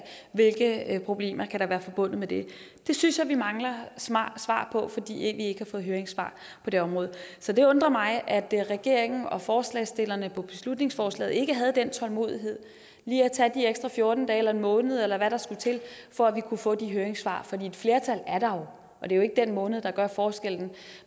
hvilke problemer kan der være forbundet med det det synes jeg vi mangler svar på fordi vi ikke har fået høringssvar på det område så det undrer mig at regeringen og forslagsstillerne på beslutningsforslaget ikke havde den tålmodighed lige at tage de ekstra fjorten dage eller en måned eller hvad der skulle til for at vi kunne få de høringssvar for et flertal er der jo og det er ikke den måned der gør forskellen